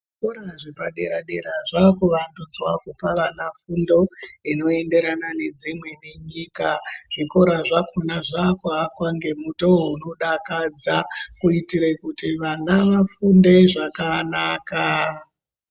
Zvikora zvepadera-dera zvakuvandudzwa kupa vana fundo inoenderana nedzimweni nyika. Zvikora zvakhona zvakuakwa ngemutowo unodakadza kuitire kuti vana vafunde zvakanaka.